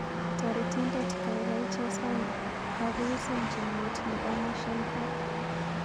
Toretindet gaigai chesan kagouson chamnyet nebo mwinshehe